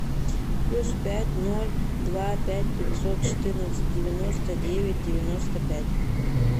плюс пять ноль два пять пятьсот четырнадцать девяносто девять девяносто пять